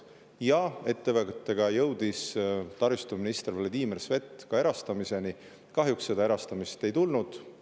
Ja ettevõttega jõudis taristuminister Vladimir Svet ka erastamiseni, kuid kahjuks seda erastamist.